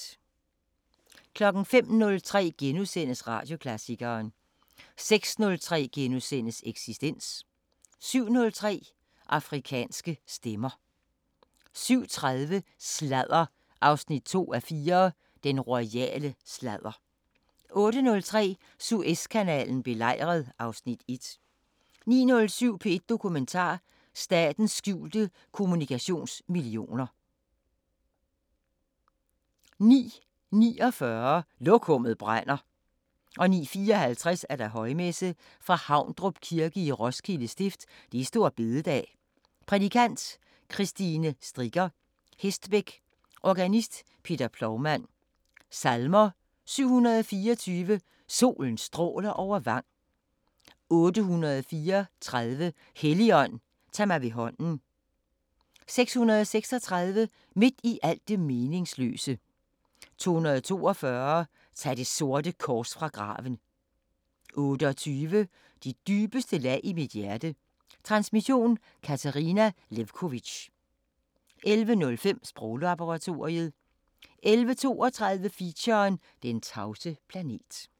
05:03: Radioklassikeren * 06:03: Eksistens * 07:03: Afrikanske Stemmer 07:30: Sladder 2:4: Den royale sladder 08:03: Suezkanalen belejret (Afs. 1) 09:07: P1 Dokumentar: Statens skjulte kommunikationsmillioner 09:49: Lokummet brænder 09:54: Højmesse - Fra Havdrup Kirke, Roskilde Stift. Store Bededag. Prædikant: Kristine Stricker Hestbech. Organist: Peter Plougmann. Salmer: 724: Solen stråler over vang. 834: Helligånd, tag mig ved hånden. 636: Midt i alt det meningsløse. 242: Tag det sorte kors fra graven . 28: De dybeste lag i mit hjerte. Transmission: Katarina Lewkovitch. 11:05: Sproglaboratoriet 11:32: Feature: Den tavse planet